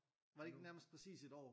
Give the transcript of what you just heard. Var det ikke nærmest præcis et år?